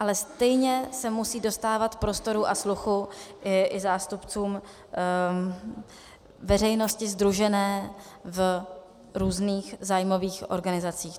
Ale stejně se musí dostávat prostoru a sluchu i zástupcům veřejnosti sdružené v různých zájmových organizacích.